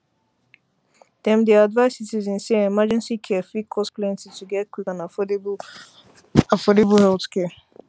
dem dey advise citizens say emergency care fit cost plenty to get quick and affordable healthcare